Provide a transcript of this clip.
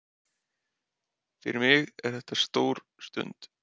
Svo virðist sem Eiður sé nefbrotinn, en hann er kominn inn á völlinn að nýju.